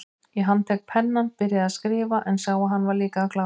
Ég handlék pennann, byrjaði að skrifa, en sá að hann var líka að klárast.